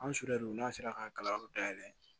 An sudru n'a sera k'a kalanyɔrɔ dayɛlɛ